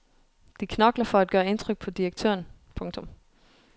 De knokler for at gøre indtryk på direktøren. punktum